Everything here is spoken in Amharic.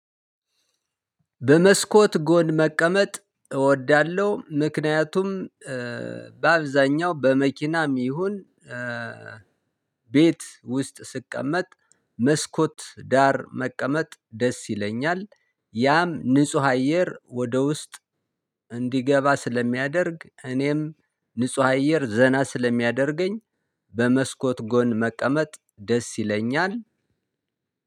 በመስኮት ጎን መቀመጥ እወዳለሁ ምክንያቱም በአብዛኛው በመኪናም ይሁን ቤት ውስጥ ስቀመጥ መስኮት ዳር መቀመጥ ደስ ይለኛል ያም ንጹህ አየር ወደ ውስጥ እንዲገባ ስለሚያደርግ እኔም ንጹህ አየር ዘና ስለሚያደርገኝ። በመስኮት ጎን መቀመጥ ደስ ይለኛል።